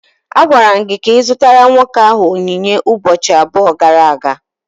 A gwara gị ka ị zụtara nwoke ahụ onyinye ụbọchị abụọ gara aga.